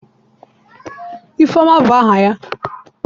Ifeoma bu aha ya?